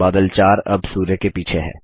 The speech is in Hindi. बादल 4 अब सूर्य के पीछे है